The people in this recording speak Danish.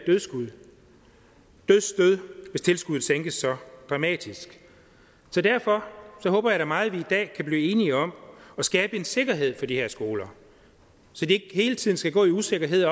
dødsstød hvis tilskuddet sænkes så dramatisk så derfor håber jeg da meget vi i dag kan blive enige om at skabe en sikkerhed for de her skoler så de ikke hele tiden skal gå i usikkerhed